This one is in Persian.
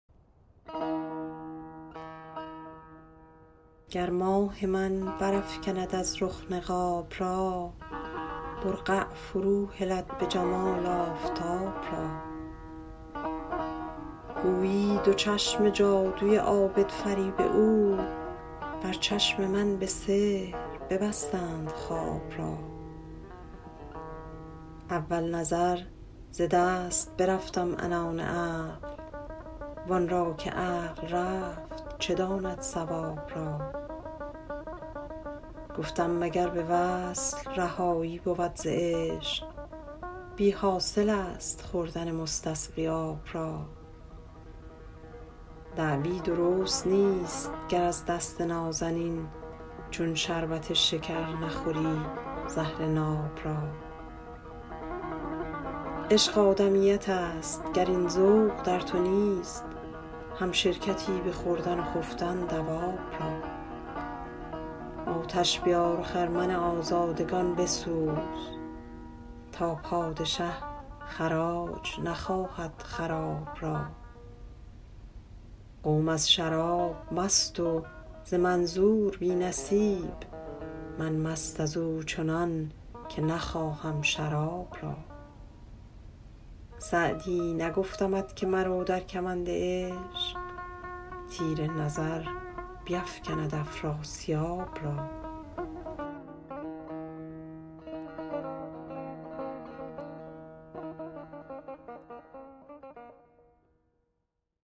گر ماه من برافکند از رخ نقاب را برقع فروهلد به جمال آفتاب را گویی دو چشم جادوی عابدفریب او بر چشم من به سحر ببستند خواب را اول نظر ز دست برفتم عنان عقل وان را که عقل رفت چه داند صواب را گفتم مگر به وصل رهایی بود ز عشق بی حاصل است خوردن مستسقی آب را دعوی درست نیست گر از دست نازنین چون شربت شکر نخوری زهر ناب را عشق آدمیت است گر این ذوق در تو نیست همشرکتی به خوردن و خفتن دواب را آتش بیار و خرمن آزادگان بسوز تا پادشه خراج نخواهد خراب را قوم از شراب مست و ز منظور بی نصیب من مست از او چنان که نخواهم شراب را سعدی نگفتمت که مرو در کمند عشق تیر نظر بیفکند افراسیاب را